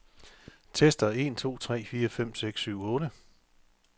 Tester en to tre fire fem seks syv otte.